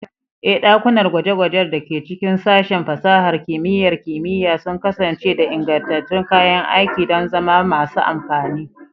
Ee, ɗakunan gwaje-gwajen da ke cikin Sashen Fasahar Kimiyyar Kimiyya sun kasance da ingantattun kayan aiki don zama masu amfani.